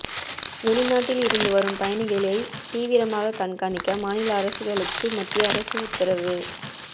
வெளிநாட்டில் இருந்து வரும் பயணிகளை தீவிரமாக கண்காணிக்க மாநில அரசுகளுக்கு மத்திய அரசு உத்தரவு